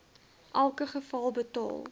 elke geval betaal